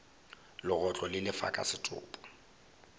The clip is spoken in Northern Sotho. legotlo le lefa ka setopo